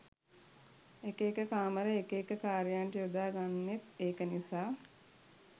එක එක කාමර එක එක කාර්යයන්ට යොදා ගන්නෙත් ඒක නිසා